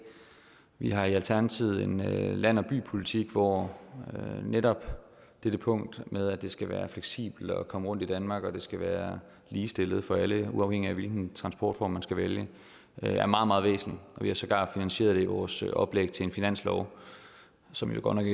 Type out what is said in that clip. vi har i alternativet en land og by politik hvor netop dette punkt med at det skal være fleksibelt at komme rundt i danmark og at det skal være ligestillet for alle uafhængigt af hvilken transportform man skal vælge er meget meget væsentligt og vi har sågar finansieret det i vores oplæg til en finanslov som jo godt nok